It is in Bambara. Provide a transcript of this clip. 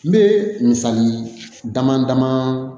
N bɛ misali dama dama